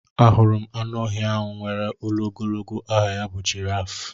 Ahụrụ m anụ ọhịa ahụ nwèrè olu ogologo aha ya bụ jiraaf.